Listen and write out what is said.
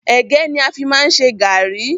Ẹ̀gẹ́ ni a fi má ń ṣe gàrrí.